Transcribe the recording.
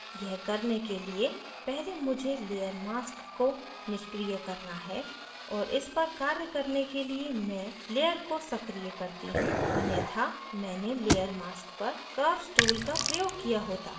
यह करने के लिए पहले मुझे layer mask को निष्क्रिय करना है और इस पर कार्य करने के लिए मैं layer को सक्रीय करती हूँ अन्यथा मैंने layer mask पर curves tool का प्रयोग किया होता